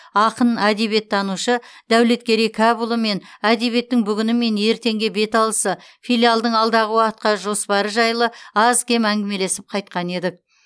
ақын әдебиеттанушы дәулеткерей кәпұлымен әдебиеттің бүгіні мен ертеңге беталысы филиалдың алдағы уақытқа жоспары жайлы аз кем әңгімелесіп қайтқан едік